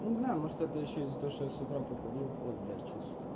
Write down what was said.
не знаю может это ещё из-за за того что я с утра покурил ой блять что сутра